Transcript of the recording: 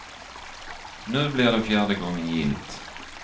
Nu blir det fjärde gången gillt.